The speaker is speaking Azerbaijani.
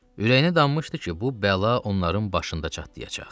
Ürəyinə dammışdı ki, bu bəla onların başında çatlayacaq.